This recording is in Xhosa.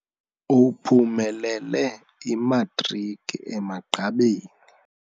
Uphumelele imatriki emagqabini.